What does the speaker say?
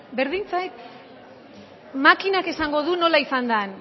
berdin zait makinak esango du nola izan den